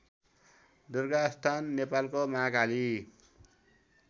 दुर्गास्थान नेपालको महाकाली